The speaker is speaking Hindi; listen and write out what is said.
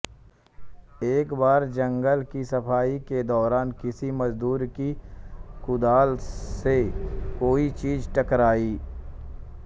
एक बार जंगल की सफाई के दौरान किसी मजदूर की कुदाल से कोई चीज टकराई